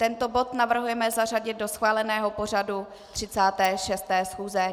Tento bod navrhujeme zařadit do schváleného pořadu 36. schůze.